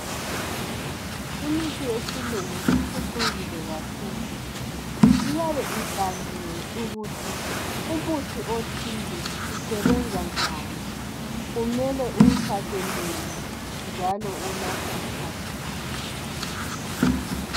Imithi yesilungu iphucukile kakhulu, iyabe ibhaliwe ukuthi umuthi othile usebenzanjani, kumele uwuthathe nini njalo unathwa sikhathi bani.